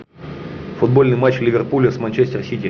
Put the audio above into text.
футбольный матч ливерпуля с манчестер сити